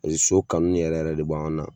so kanu yɛrɛ yɛrɛ de b'anw na